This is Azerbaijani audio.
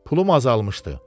Pulum azalmışdı.